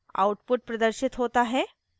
output प्रदर्शित होता है